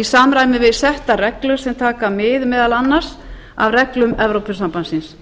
í samræmi við settar reglur sem taka mið meðal annars af reglum evrópusambandsins